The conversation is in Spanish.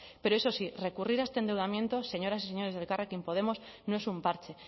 pero eso sí recurrir a este endeudamiento señoras y señores de elkarrekin podemos no es un parche